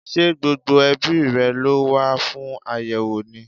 Ṣé gbogbo ẹbíi rẹ̀ ló wá fún àyẹ́wò ni?